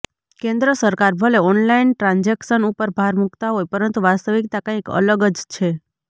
કેન્દ્ર સરકાર ભલે ઓનલાઈન ટ્રાન્ઝેક્શન ઉપર ભાર મુકતા હોય પરંતુ વાસ્તવિકતા કંઈક અલગ જ છે